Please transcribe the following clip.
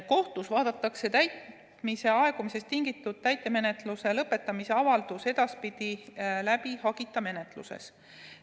Kohtus vaadatakse täitmise aegumisest tingitud täitemenetluse lõpetamise avaldus edaspidi läbi hagita menetluses.